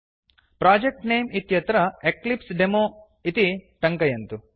project name इत्यत्र Eclipse demo इति टङ्कयन्तु